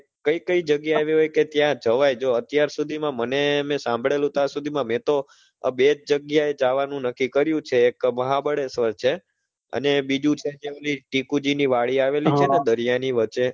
કઈ કઈ જગ્યા એવી હોય કે ત્યાં જવાય જો અત્યાર સુધી માં મને મેં સાંભળેલુ ત્યાં સુધી માં મેં તો આ બે જ જગ્યા એ જાવાનું નક્કી કર્યું છે, એક મહાબળેશ્વર છે અને બીજું છે જે ઓલી ટીકુ જી ની વાડી આવેલી છે ને દરિયા ની વચ્ચે